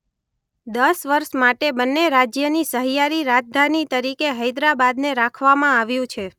દસ વર્ષ માટે બંન્ને રાજ્યની સહિયારી રાજધાની તરીકે હૈદરાબાદને રાખવામાં આવ્યું છે.